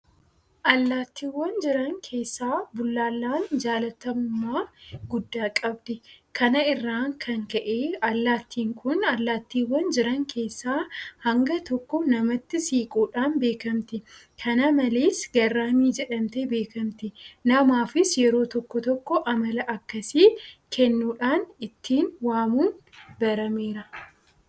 Allaattiiwwan jiran keessaa Bullaallaan jaalatamummaa guddaa qabdi. Kana irraa kan ka'e allaattiin kun allaattiiwwan jiran keessaa hanga tokko namatti siquudhaan beekamti. Kana malees garraamii jedhamtee beekamti. Namaafis yeroo tokko tokko amala akkasii kennuudhaan ittiin waamuun barameera.